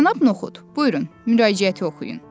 Cənab Noxud, buyurun, müraciəti oxuyun.